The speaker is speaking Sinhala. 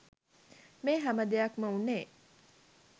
මේ හැම දෙයක්‌ම වුණේ